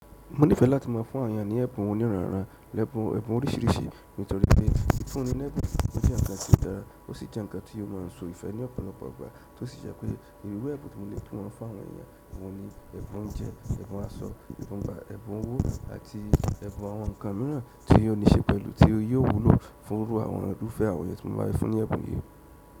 Mo nífẹ́ láti má a fún àwọn yàn ní ẹ̀bùn oníranran lẹ́bùn ẹ̀bùn oríṣìíríṣìí nítorí pé fúnni lẹ́bùn ni ó jẹ́ ǹkan tó dára ó sì jẹ́ ǹkan tí ó má n so ìfẹ́ ní ọ̀pọ̀lọpọ̀ ọgbà tó sì jẹ́ pé ìru ẹ̀bùn tí mo lè fún wọn fún àwọn èèyàn, ìwọ́ ni ẹ̀bùn oúnjẹ, ẹ̀bùn aṣọ, ẹ̀bùn ọgbà, ẹ̀bùn owó àti ẹ̀bùn àwọn ǹkan míràn tí yóò ní ṣe pẹ̀lú tí ó yóò wúlò fúnrú àwọn ọdún fẹ́ àwẹ̀yẹ tí mo bá fi fún ní ẹ̀bùn yí.